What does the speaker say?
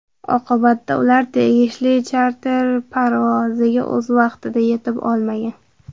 Oqibatda ular tegishli charter parvoziga o‘z vaqtida yetib olmagan.